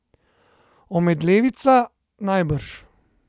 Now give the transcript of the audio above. Omedlevica, najbrž.